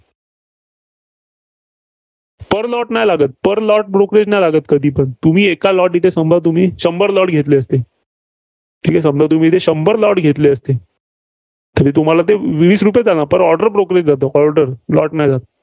per lot नाही लागत. Per lot brokerage नाही लागत कधीपण. तुम्ही एका lot तिथे शंभर lot घेतले, समजा तुम्ही शंभर lot घेतले असते. तरी तुम्हाला ते वीस रुपयेच जाणार Per order brokerage जातं. order lot नाही जात.